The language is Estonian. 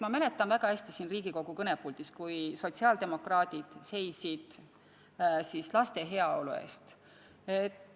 Ma mäletan väga hästi, kui sotsiaaldemokraadid seisid siin Riigikogu kõnepuldis laste heaolu eest.